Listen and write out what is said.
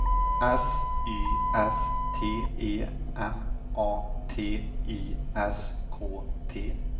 S Y S T E M A T I S K T